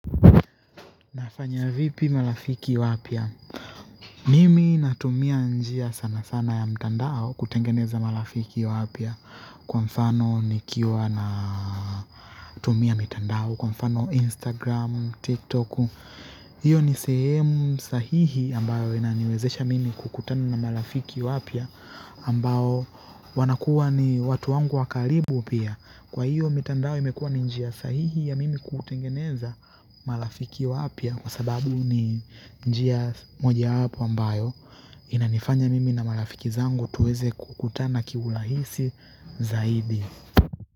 Nafanya vipi marafiki wapya mimi natumia njia sana sana ya mtandao kutengeneza marafiki wapya kwa mfano nikiwa na tumia mtandao kwa mfano Instagram, TikTok hiyo ni sehemu sahihi ambayo inaniwezesha mimi kukutana na marafiki wapya ambao wanakuwa ni watu wangu wakaribu pia kwa hiyo mitandao imekuwa ni njia sahihi ya mimi kutengeneza marafiki wapya kwa sababu ni njia mojawapo ambayo inanifanya mimi na marafiki zangu tuweze kukutana kiurahisi zaidi.